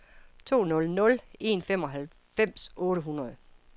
to nul nul en femoghalvfems otte hundrede